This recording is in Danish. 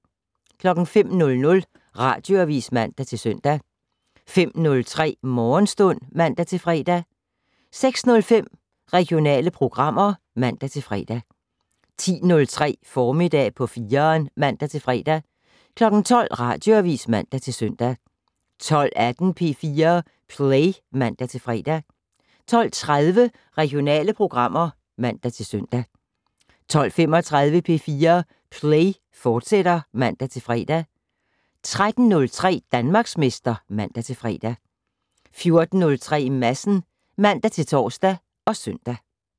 05:00: Radioavis (man-søn) 05:03: Morgenstund (man-fre) 06:05: Regionale programmer (man-fre) 10:03: Formiddag på 4'eren (man-fre) 12:00: Radioavis (man-søn) 12:18: P4 Play (man-fre) 12:30: Regionale programmer (man-søn) 12:35: P4 Play, fortsat (man-fre) 13:03: Danmarksmester (man-fre) 14:03: Madsen (man-tor og søn)